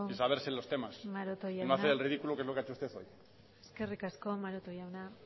saberse los temas y no hacer el ridículo que es lo que usted ha hecho hoy eskerrik asko maroto jauna